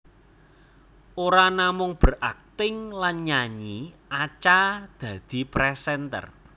Ora namung berakting lan nyanyi Acha dadi presenter